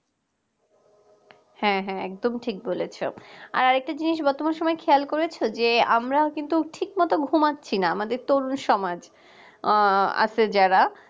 হ্যাঁ হ্যাঁ একদম ঠিক বলেছ আর আরেকটা জিনিস তোমরা সবাই খেয়াল করেছো যে আমরা কিন্তু ঠিকমত ঘুমাচ্ছি না আমাদের তো সমাজ আছে যারা